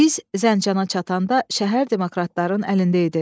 Biz Zəncana çatanda şəhər demokratların əlində idi.